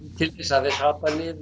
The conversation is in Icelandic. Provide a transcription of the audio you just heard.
hafi hrapað niður